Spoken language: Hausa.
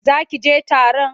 Za ki je taron?